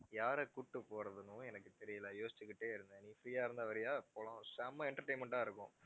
யார கூட்டிட்டு போறதுன்னும் எனக்கு தெரியல யோசிச்சுக்கிட்டே இருந்தேன் நீ free ஆ இருந்தா வர்றியா போகலாம். செம்ம entertainment ஆ இருக்கும்